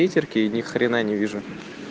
ни хрена не вижу